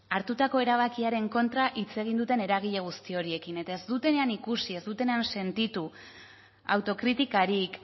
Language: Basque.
hartutako erabakiaren kontra hitz egin duten eragile guzti horiekin eta ez dutenean ikusi ez dutenean sentitu autokritikarik